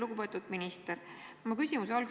Lugupeetud minister!